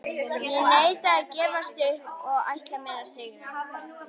Ég neita að gefast upp og ætla mér að sigra.